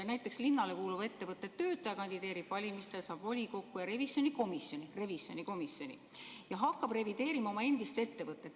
Näiteks, linnale kuuluva ettevõtte töötaja kandideerib valimistel, saab volikokku ja revisjonikomisjoni ning hakkab revideerima oma endist ettevõtet.